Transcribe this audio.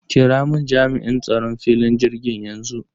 Kiramun Jami'in tsaron filin jirgin yanxu.